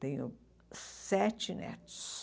Tenho sete netos.